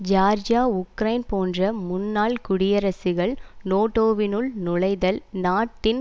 Georgia Ukraine போன்ற முன்னாள் குடியரசுகள் நேட்டோவினுள் நுழைதல் நாட்டின்